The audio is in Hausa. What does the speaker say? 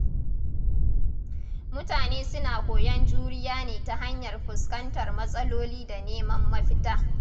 Mutane suna koyon juriya ne ta hanyar fuskantar matsaloli da neman mafita.